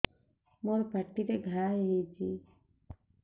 ମୋର ପାଟିରେ ଘା ହେଇଚି